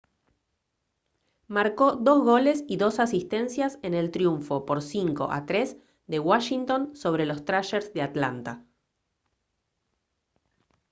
marcó 2 goles y 2 asistencias en el triunfo por 5 a 3 de washington sobre los thrashers de atlanta